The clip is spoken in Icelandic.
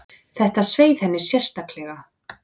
Þetta sveið henni sérstaklega.